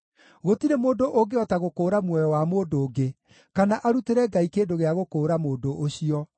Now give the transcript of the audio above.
Gũtirĩ mũndũ ũngĩhota gũkũũra muoyo wa mũndũ ũngĩ, kana arutĩre Ngai kĩndũ gĩa gũkũũra mũndũ ũcio,